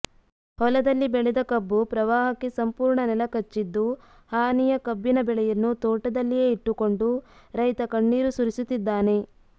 ಹೊಲದಲ್ಲಿ ಬೆಳೆದ ಕಬ್ಬು ಪ್ರವಾಹಕ್ಕೆ ಸಂಪೂರ್ಣ ನೆಲಕಚ್ಚಿದ್ದು ಹಾನಿಯ ಕಬ್ಬಿನ ಬೆಳೆಯನ್ನು ತೋಟದಲ್ಲಿಯೇ ಇಟ್ಟುಕೊಂಡು ರೈತ ಕಣ್ಣೀರು ಸುರಿಸುತ್ತಿದ್ದಾನೆ